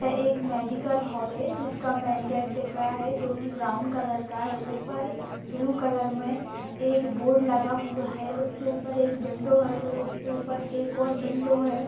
एक medical hall है जिसका मैन गेट दिख रहा है जो कि ब्राउन कलर का है ऊपर ब्लू कलर में एक बोर्ड लगा हुआ है उसके ऊपर एक विंडो है फिर उसके ऊपर एक और विंडो है।